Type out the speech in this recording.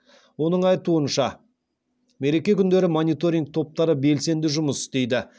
оның айтуынша мереке күндері мониторинг топтары белсенді жұмыс істейді